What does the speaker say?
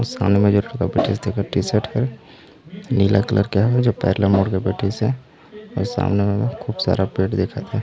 सामने म जो एक ठ बईथे तेकर टी-शर्ट हैं नीला कलर का है जो पैर ला मोड़ के बैठीसे अऊ सामने मे खूब सारा पेड़ दिखत हे।